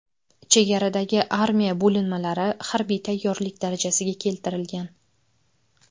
Chegaradagi armiya bo‘linmalari harbiy tayyorlik darajasiga keltirilgan.